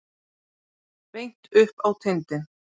Beint upp á tindinn.